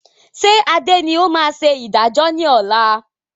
Ṣé Adé ni ó máa ṣe ìdájọ́ ni ọ̀la?